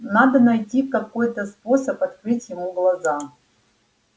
надо найти какой-то способ открыть ему глаза